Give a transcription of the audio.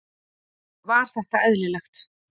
Var þetta eðlilegt?